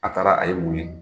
A taara a ye mun ye